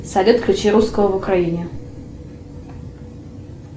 салют включи русского в украине